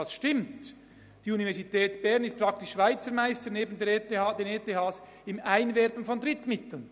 Das stimmt: Die Universität Bern ist neben den ETHs praktisch Schweizer Meisterin im Einwerben von Drittmitteln.